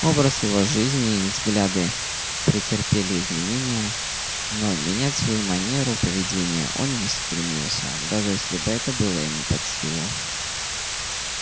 образ его жизни и взгляды претерпели изменение но менять свою манеру поведения он не стремился даже если бы это было ему под силу